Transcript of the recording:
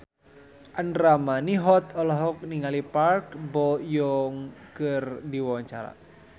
Andra Manihot olohok ningali Park Bo Yung keur diwawancara